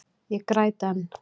Ég græt enn.